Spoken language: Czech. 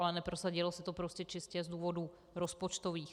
Ale neprosadilo se to prostě čistě z důvodů rozpočtových.